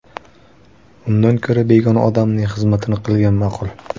Undan ko‘ra begona odamning xizmatini qilgan ma’qul.